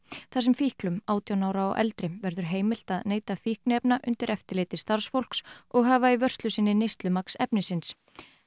þar sem fíklum átján ára og eldri verður heimilt að neyta fíkniefna undir eftirliti starfsfólks og hafa í vörslu sinni efnisins